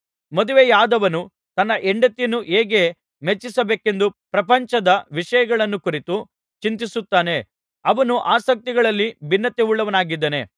ಮದುವೆಯಾದವನು ತನ್ನ ಹೆಂಡತಿಯನ್ನು ಹೇಗೆ ಮೆಚ್ಚಿಸಬೇಕೆಂದು ಪ್ರಪಂಚದ ವಿಷಯಗಳನ್ನು ಕುರಿತು ಚಿಂತಿಸುತ್ತಾನೆ ಅವನು ಆಸಕ್ತಿಗಳಲ್ಲಿ ಭಿನ್ನತೆಯುಳ್ಳವನಾಗಿದ್ದಾನೆ